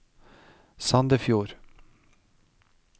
Sandefjord